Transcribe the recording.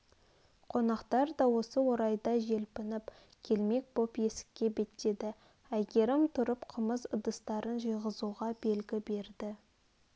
қонақтар да осы орайда желпініп келмек боп есікке беттеді әйгерім тұрып қымыз ыдыстарын жиғызуға белгі берді